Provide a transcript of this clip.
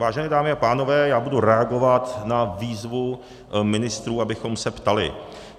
Vážené dámy a pánové, já budu reagovat na výzvu ministrů, abychom se ptali.